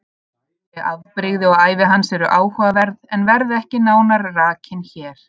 Þau afbrigði og ævi hans eru áhugaverð en verða ekki nánar rakin hér.